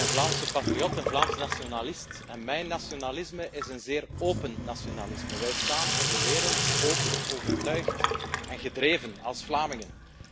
Ik ben een Vlaamse patriot, een Vlaams nationalist en mijn nationalisme is een zeer open nationalisme. Wij staan in de wereld open, overtuigd en gedreven als Vlamingen.